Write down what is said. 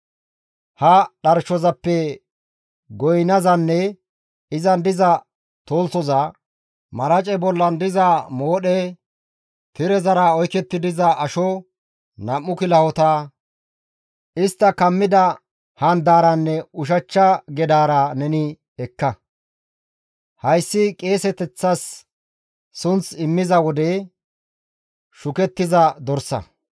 «Ha dharshozappe goynazanne izan diza tolthoza, marace bollan diza moodhe, tirezara oyketti diza asho, nam7u kilahota, istta kammi oykkida handaaranne ushachcha gedaara neni ekka; hayssi qeeseteththa sunth immiza wode shukettiza dorsa.